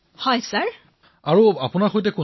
শ্ৰী হৰি জি বিঃ জয় হিন্দ মহাশয়